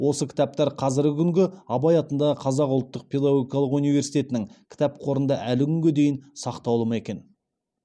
осы кітаптар қазіргі күнгі абай атындағы қазақ ұлттық педагогикалық университетінің кітап қорында әлі күнге дейін сақтаулы ма екен